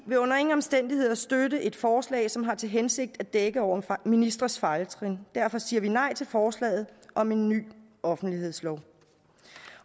vil under ingen omstændigheder støtte et forslag som har til hensigt at dække over ministres fejltrin derfor siger vi nej til forslaget om en ny offentlighedslov